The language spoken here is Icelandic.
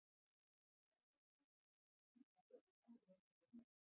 Hákarlalýsi verður að hreinsa vel áður en þess er neytt.